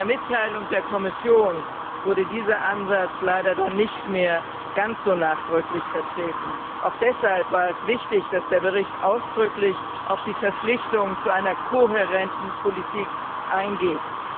In der Mitteilung der Kommission wurde dieser Ansatz dann leider nicht mehr ganz so nachdrücklich vertreten. Auch deshalb war es wichtig, dass der Bericht ausdrücklich auf die Verpflichtung zu einer kohärenten Politik eingeht.